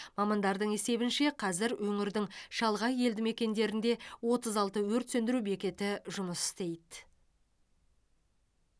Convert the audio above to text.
мамандардың есебінше қазір өңірдің шалғай елді мекендерінде отыз алты өрт сөндіру бекеті жұмыс істейді